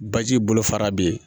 Baji bolofara be yen